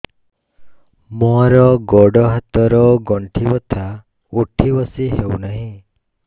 ମୋର ଗୋଡ଼ ହାତ ର ଗଣ୍ଠି ବଥା ଉଠି ବସି ହେଉନାହିଁ